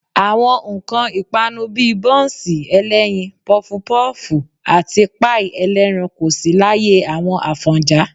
Àwọn nǹkan ìpanu bí i bọ́ńsì ẹlẹ́yin, pọfupọ́ọ̀fù àti páì ẹlẹ́ran kò sí láyé àwọn Àfọ̀njá